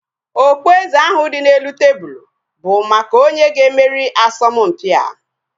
Okpueze ahu dị n'elu tebụlu bụ maka onye ga-emeri asọmpia